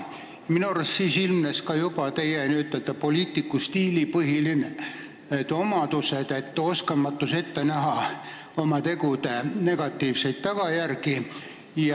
Minu arust ilmnes juba siis teie kui poliitiku tööstiili põhilünk: oskamatus ette näha oma tegude negatiivseid tagajärgi.